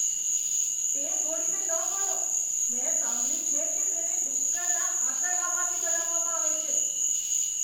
તે ગોળીને ન ગળો. મેં સાંભળ્યું છે કે તેને ડુક્કરના આંતરડામાંથી બનાવવામાં આવે છે.